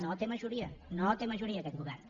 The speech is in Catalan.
no té majoria no té majoria aquest govern